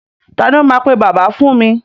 Ta ni ó máa pe bàbá mi fún mi?